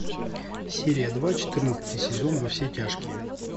серия два четырнадцатый сезон во все тяжкие